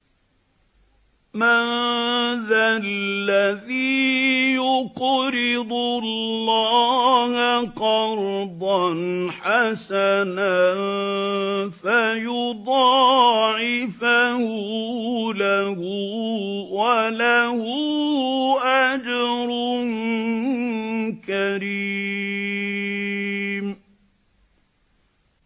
مَّن ذَا الَّذِي يُقْرِضُ اللَّهَ قَرْضًا حَسَنًا فَيُضَاعِفَهُ لَهُ وَلَهُ أَجْرٌ كَرِيمٌ